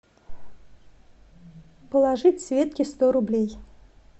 положить светке сто рублей